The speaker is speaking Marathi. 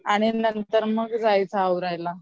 आणि नंतर मग जायचं आवरायला